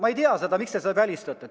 Ma ei tea, miks te selle välistate.